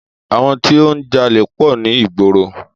Àwọn tí ó ń jalè pọ̀ ní ìgboro.